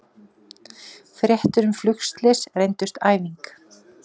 Fréttir um flugslys reyndust æfing